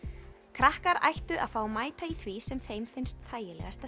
krakkar ættu að fá að mæta í því sem þeim finnst þægilegast